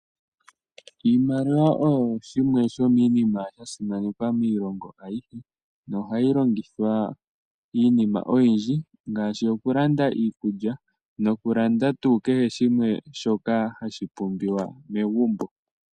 Iimaliwa oyo yimwe yomiinima yasimanekwa miilonga ayihe nohayi longithwa iinima oyindji ngaashi okulanda iikulya nokulanda oompumbwe adhihe dhomegumbo.